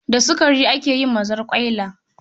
Da sukari ake yin mazarƙwaila